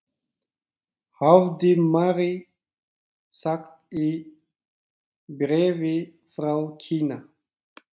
hafði Mary sagt í bréfi frá Kína.